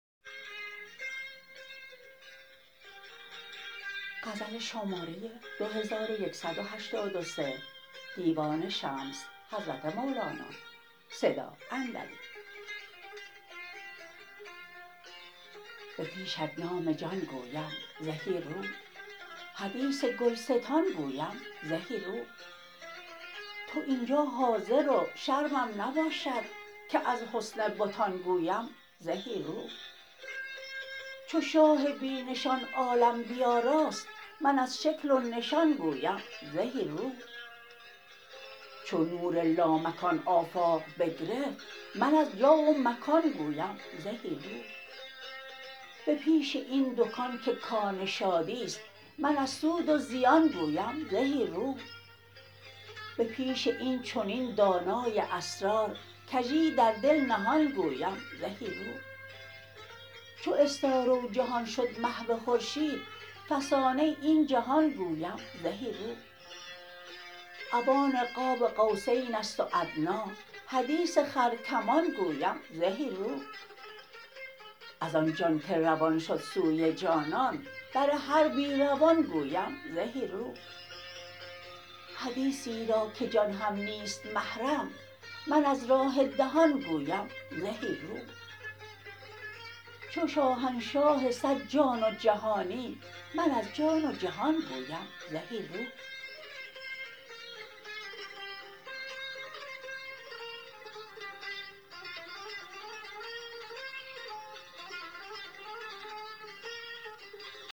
به پیشت نام جان گویم زهی رو حدیث گلستان گویم زهی رو تو این جا حاضر و شرمم نباشد که از حسن بتان گویم زهی رو چو شاه بی نشان عالم بیاراست من از شکل و نشان گویم زهی رو چو نور لامکان آفاق بگرفت من از جا و مکان گویم زهی رو به پیش این دکان که کان شادی است من از سود و زیان گویم زهی رو به پیش این چنین دانای اسرار کژی در دل نهان گویم زهی رو چو استاره و جهان شد محو خورشید فسانه این جهان گویم زهی رو اوان قاب قوسین است و ادنی حدیث خرکمان گویم زهی رو از آن جان که روان شد سوی جانان بر هر بی روان گویم زهی رو حدیثی را که جان هم نیست محرم من از راه دهان گویم زهی رو چو شاهنشاه صد جان و جهانی من از جان و جهان گویم زهی رو